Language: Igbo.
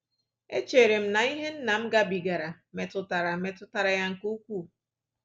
Echere m na ihe nna m gabigara metụtara metụtara ya nke ukwuu